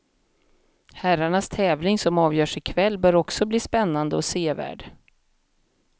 Herrarnas tävling som avgörs i kväll bör också bli spännande och sevärd.